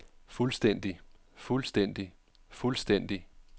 fuldstændig fuldstændig fuldstændig